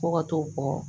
Fo ka t'o bɔ